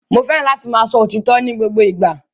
Mo fẹràn láti máa sọ òtítọ ni gbogbo ìgbà.